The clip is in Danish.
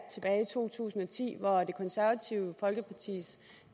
to tusind og ti hvor det konservative folkepartis